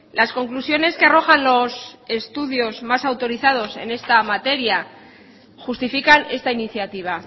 las conclusiones que arrojan los estudios más autorizados en esta materia justifican esta iniciativa